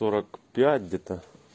сорок пять где то